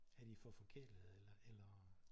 Er det for forkælede eller?